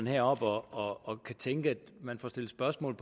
heroppe og tænke at man får stillet spørgsmål